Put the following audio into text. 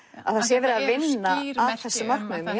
það sé verið að vinna að þessu markmiði en